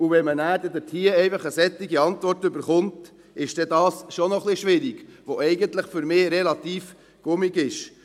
Wenn man dann ein solche Antwort bekommt, ist dies schon ein bisschen schwierig, weil dies für mich eigentlich relativ gummiartig ist.